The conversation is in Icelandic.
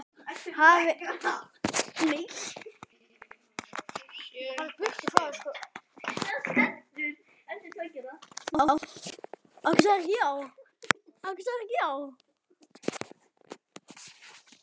Hafði einhver keyrt á okkur?